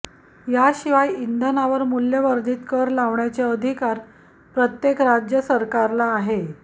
याशिवाय इंधनांवर मूल्यवर्धित कर लावण्याचे अधिकार प्रत्येक राज्य सरकारला आहे